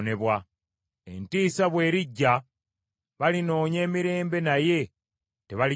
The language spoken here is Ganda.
Entiisa bw’erijja, balinoonya emirembe naye tebaligifuna.